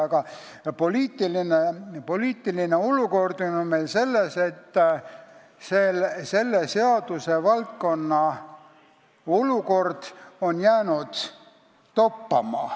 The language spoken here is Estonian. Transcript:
Aga poliitiline olukord on meil selline, et see seadusvaldkond on jäänud toppama.